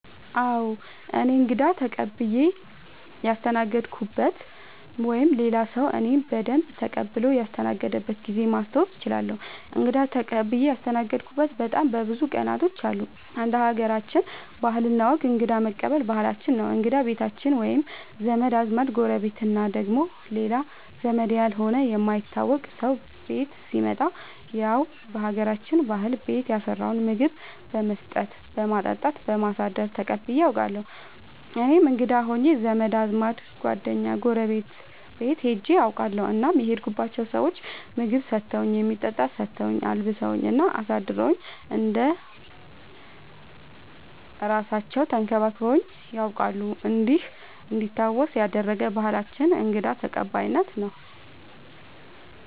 አዎ እኔ እንግዳ ተቀብየ ያስተናገድኩበት ወይም ሌላ ሰዉ እኔን በደንብ ተቀብሎ ያስተናገደበት ጊዜ ማስታወስ እችላለሁ። እንግዳ ተቀብዬ ያስተናገድሁበት በጣም ብዙ ቀናቶች አሉ እንደ ሀገራችን ባህል እና ወግ እንግዳ መቀበል ባህላችን ነው እንግዳ ቤታችን መቶ ዘመድ አዝማድ ጎረቤት እና ደግሞ ሌላ ዘመድ ያልሆነ የማይታወቅ ሰው ቤት ሲመጣ ያው በሀገራችን ባህል ቤት ያፈራውን ምግብ በመስጠት በማጠጣት በማሳደር ተቀብዬ አውቃለሁ። እኔም እንግዳ ሆኜ ዘመድ አዝማድ ጓደኛ ጎረቤት ቤት ሄጄ አውቃለሁ እናም የሄድኩባቸው ሰዎች ምግብ ሰተውኝ የሚጠጣ ሰተውኝ አልብሰውኝ እና አሳድረውኝ እንደ እራሳለው ተንከባክበውኝ ነያውቃሉ እንዲህ እንዲታወስ ያደረገ ባህላችንን እንግዳ ተቀባይነት ነው።